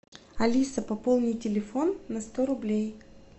алиса пополни телефон на сто рублей